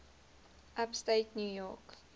upstate new york